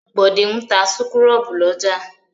Bọ̀dé ń ta súkúrọ́bù lọ́jà.